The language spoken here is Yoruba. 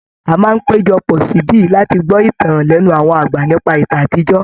A máa n hpéjọ pọ̀ síbí láti gbọ́ ìtàn lẹ́nu àwọn àgbà nípa ìtàn àtijọ́.